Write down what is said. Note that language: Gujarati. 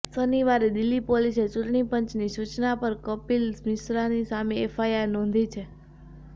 શનિવારે દિલ્હી પોલીસે ચૂંટણી પંચની સૂચના પર કપિલ મિશ્રાની સામે એફઆઈઆર નોંધી છે